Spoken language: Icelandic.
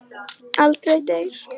Aldrei deyr.